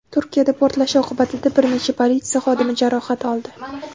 Turkiyada portlash oqibatida bir necha politsiya xodimi jarohat oldi.